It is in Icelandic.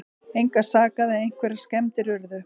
Engan sakaði en einhverjar skemmdir urðu